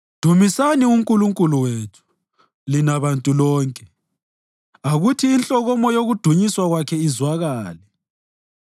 Dumisani uNkulunkulu wethu, lina bantu lonke, akuthi inhlokomo yokudunyiswa kwakhe izwakale;